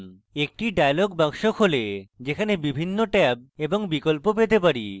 একটি dialog box খোলে যেখানে বিভিন্ন ট্যাব এবং বিকল্প পেতে পারি